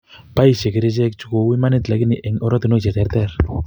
Boisie kerichek chu kou imanitib lakini en oratunwek cheterter